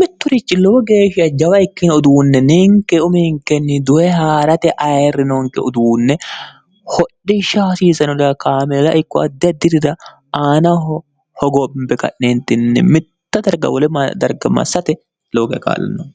mitturichi lowo geeshsha jawa ikkine uduunne ninke uminkenni dowe haa'rate ayirri nonke uduunne hodhishsha hasiisanoda kaamila ikko addi ha dirira aanaho hogombe ka'neentinni mitta dargawole m darga massate looge kaallo nonke